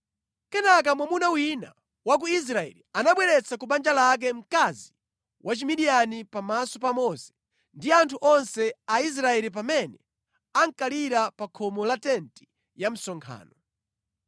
Kenaka mwamuna wina wa ku Israeli anabweretsa ku banja lake mkazi wa Chimidiyani pamaso pa Mose ndi anthu onse a Israeli pamene ankalira pa khomo la tenti ya msonkhano.